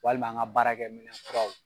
Walima an ka baarakɛ minɛ kuraw.